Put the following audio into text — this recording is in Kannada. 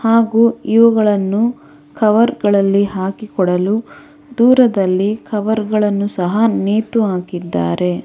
ಹಾಗು ಇವುಗಳನ್ನು ಕವರ್ ಗಳಲ್ಲಿ ಹಾಕಿಕೊಡಲು ದೂರದಲ್ಲಿ ಕವರ್ ಗಳನ್ನು ಸಹ ನೆತು ಹಾಕಿದ್ದಾರೆ.